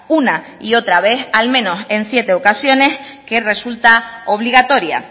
una y otra vez al menos en siete ocasiones que resulta obligatoria